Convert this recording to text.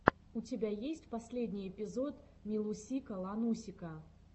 у тебя есть последний эпизод милусика ланусика